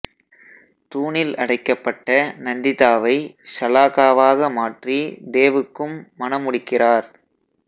தூணில் அடைக்கப்பட்ட நந்திதா வை ஷலாகாவாக மாற்றி தேவுக்கும் மணமுடிக்கிறார்